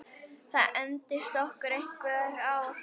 Það entist okkur einhver ár.